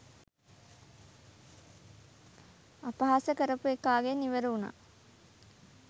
අපහාස කරපු එකාගෙන් ඉවර වුනා